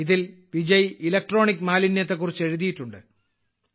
ഇതിൽ വിജയ് ഇലക്ട്രോണിക് മാലിന്യത്തെക്കുറിച്ച് എഴുതിയിട്ടുണ്ട്